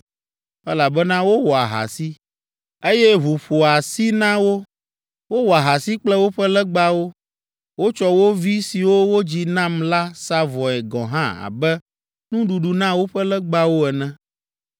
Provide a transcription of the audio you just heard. elabena wowɔ ahasi, eye ʋu ƒo asi na wo. Wowɔ ahasi kple woƒe legbawo; wotsɔ wo vi siwo wodzi nam la sa vɔe gɔ̃ hã abe nuɖuɖu na woƒe legbawo ene.